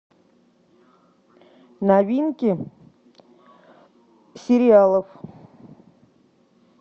новинки сериалов